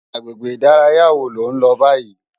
Agbégbé idàráyá wó ló n lò bàyí?